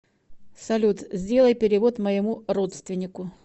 салют сделай перевод моему родственнику